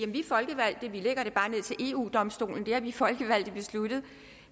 vi folkevalgte lægger det bare ned til eu domstolen det har vi folkevalgte besluttet